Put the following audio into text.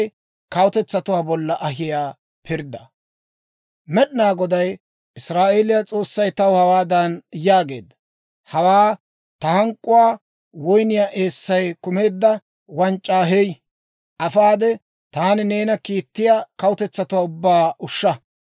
Med'inaa Goday, Israa'eeliyaa S'oossay taw hawaadan yaageedda; «Hawaa ta hank'k'uwaa woyniyaa eessay kumeedda wanc'c'aa hey. Afaade taani neena kiittiyaa kawutetsatuwaa ubbaa ushsha.